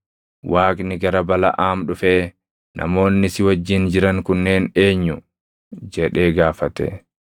Waaqni gara Balaʼaam dhufee, “Namoonni si wajjin jiran kunneen eenyu?” jedhee gaafate.